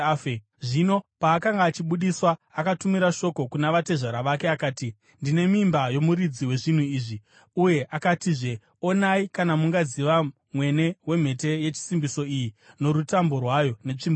Zvino paakanga achibudiswa, akatumira shoko kuna vatezvara vake akati, “Ndine mimba yomuridzi wezvinhu izvi.” Uye akatizve, “Onai kana mungaziva mwene wemhete yechisimbiso iyi norutambo rwayo, netsvimbo iyi.”